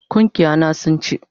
Gungiya na sun ci